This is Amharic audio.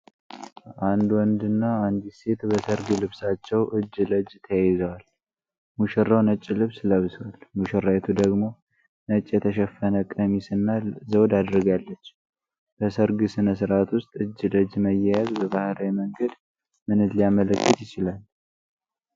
አንድ ወንድና አንዲት ሴት በሠርግ ልብሳቸው እጅ ለእጅ ተያይዘዋል፣ ሙሽራው ነጭ ልብስ ለብሷል፤ ሙሽራይቱ ደግሞ ነጭ የተሸፈነ ቀሚስ እና ዘውድ አድርጋለች፤ በሠርግ ሥነ ሥርዓት ውስጥ እጅ ለእጅ መያያዝ በባህላዊ መንገድ ምንን ሊያመለክት ይችላል?